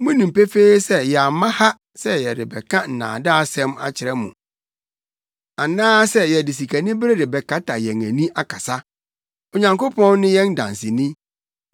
Munim pefee sɛ yɛamma ha sɛ yɛrebɛka nnaadaasɛm akyerɛ mo anaasɛ yɛde sikanibere rebɛkata yɛn ani akasa. Onyankopɔn ne yɛn danseni.